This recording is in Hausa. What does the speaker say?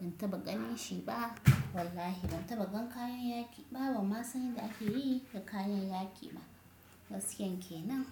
Ban taɓa ganin shi ba. Wallahi ban taɓa gan kayan yaƙi ba. Ban ma san yadda ake yi da kayan yaƙi ba. Gaskiyanke nan.